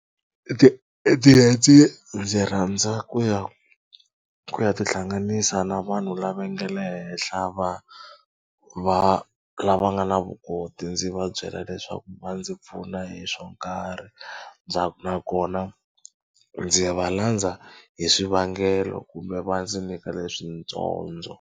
Ti ndzi rhandza ku ya ku ya tihlanganisa na vanhu lava nga le henhla va va lava nga na vukoti ndzi va byela leswaku va ndzi pfuna hi swo nkarhi nakona ndzi va landza hi swivangelo kumbe va ndzi nyika leswi .